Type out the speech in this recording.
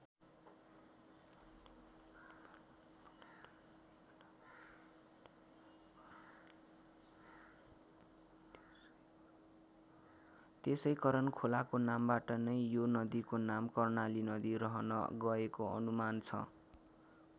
त्यसै करन खोलाको नामबाट नै यो नदीको नाम कर्णाली नदी रहन गएको अनुमान छ।